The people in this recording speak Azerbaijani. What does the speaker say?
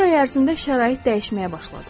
Bir ay ərzində şərait dəyişməyə başladı.